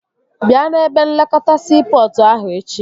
Bịa n'ebe nlekọta siipọtụ ahụ echi